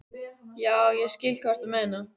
Já, ég skil hvað þú ert að meina.